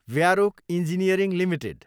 व्यारोक engineering Ltd